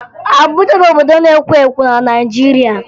Abuja bụ obodo na-ekwo ekwo na Naịjirịa